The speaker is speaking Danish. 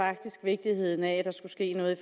faktisk vigtigheden af at der skulle ske noget i